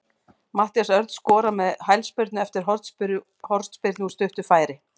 Matthías Örn skorar með hælspyrnu eftir hornspyrnu úr stuttu færi.